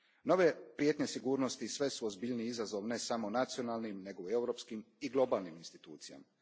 Nove prijetnje sigurnosti sve su ozbiljniji izazov ne samo nacionalnim, nego i europskim i globalnim institucijama.